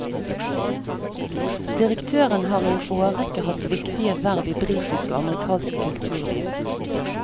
Direktøren har i en årrekke hatt viktige verv i britisk og amerikansk kulturliv.